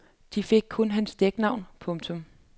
De fik kun hans dæknavn. punktum